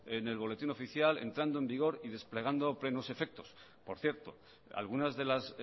en el boletín oficial entrando en vigor y desplegando plenos efectos por cierto algunas de las